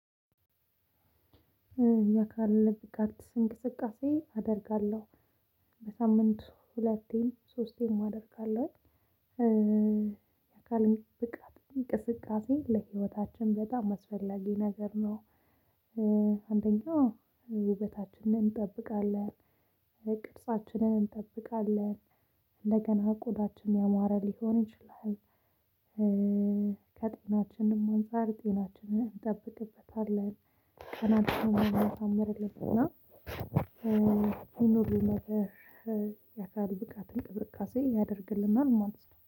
የአካል ብቃት እንቅስቃሴ አደርጋለሁ። በሳምንቱ ሁለቴም ሶስቴም አደርጋለው። የአካል ብቃት እንቅስቃሴ ለህይወታችን በጣም አስፈላጊ ነገር ነው። አንደኛው ውበታችንን እንጠብቃለን፤ ቅርጻችንን እንጠብቃለን፤ እንደገና ቆዳችን ያማረ ሊሆን ይችላል ከጤናችንም አንፃር ጤናችንን እንጠብቅበታለን፤ ከመልክ አምርልን እና ይኑር ነበር የአካል ብቃት እንቅስቃሴ ያደርግልናል ማለት ነው።